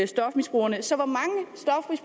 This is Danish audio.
stofmisbrugerne